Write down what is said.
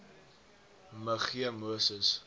me g moses